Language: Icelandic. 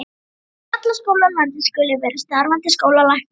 Við alla skóla landsins skulu vera starfandi skólalæknar.